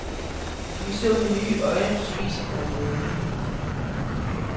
Vi så med nye øjne på spisebordet derhjemme.